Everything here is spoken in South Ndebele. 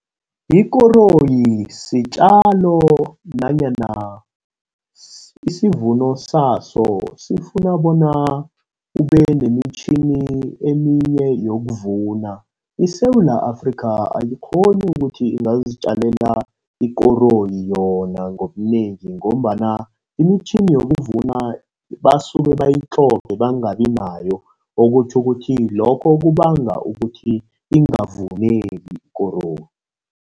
Ikoroyi sitjalo nanyana isivuno saso sifuna bona ube nemitjhini eminye yokuvuna. ISewula Afrika, ayikghoni ukuthi ingazitjalela ikoroyi yona ngobunengi, ngombana imitjhini yokuvuna basuke bayitlhoge bangabi nayo. Okutjho ukuthi lokho kubanga ukuthi ingavuneki ikoroyi.